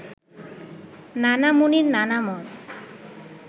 নানা মুনির নানা মত